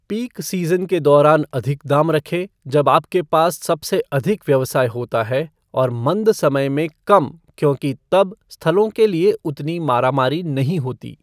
Peak season के दौरान अधिक दाम रखे, जब आपके पास सबसे अधिक व्यवसाय होता है, और मंद समय में कम क्योंकि तब स्थलों के लिए उतनी मारा मारी नहीं होती।